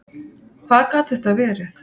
Hvað gat þetta verið?